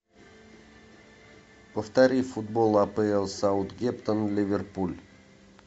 повтори футбол апл саутгемптон ливерпуль